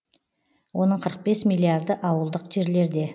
оның қырық бес миллиарды ауылдық жерлерде